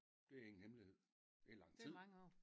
Det ingen hemmelighed det er lang tid